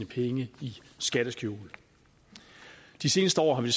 penge i skatteskjul de seneste år har vi